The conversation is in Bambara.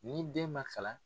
N'i den man kalan